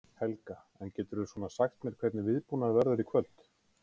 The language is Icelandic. Helga: En geturðu svona sagt mér hvernig viðbúnaður verður í kvöld?